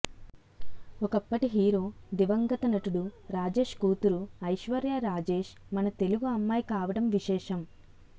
ఒక్కప్పటి hero దివంగత నటుడు రాజేష్ కూతురు ఐశ్వర్య రాజేష్ మన తెలుగు అమ్మాయి కావడం విశేషం